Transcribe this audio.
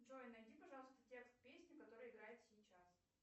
джой найди пожалуйста текст песни которая играет сейчас